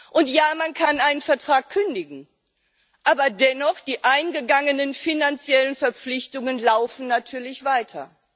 Und ja, man kann einen Vertrag kündigen, aber dennoch laufen die eingegangenen finanziellen Verpflichtungen natürlich weiter.